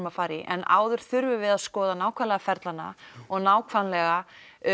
að fara í en áður þurfum við að skoða nákvæmlega ferlana og nákvæmlega